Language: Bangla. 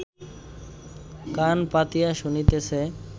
কান পাতিয়া শুনিতেছে